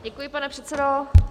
Děkuji, pane předsedo.